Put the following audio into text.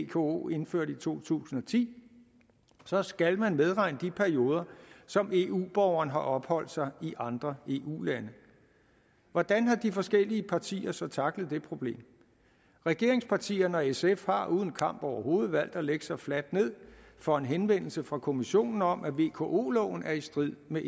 vko indførte i to tusind og ti så skal man medregne de perioder som eu borgeren har opholdt sig i andre eu lande hvordan har de forskellige partier så tacklet det problem regeringspartierne og sf har uden kamp overhovedet valgt at lægge sig fladt ned for en henvendelse fra kommissionen om at vko loven er i strid med